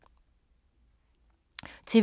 TV 2